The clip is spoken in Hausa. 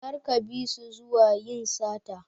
Kar ka bisu zuwa yin sata.